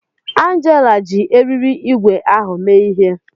Angela ji eriri ígwè ahụ mee ihe